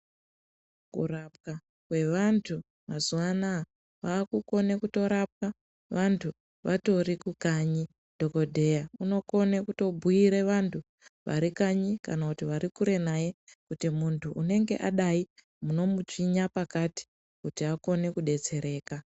Kurapwa kwevantu mazuwa anaa kwakunone kutorapwa vantu vatori kukanyi. Dhokodheya unokone kutobhuire vantu varikanyi kana kuti varikure naye kuti muntu unenge adai munomutsvinya pakati kuti akone kudetsereka.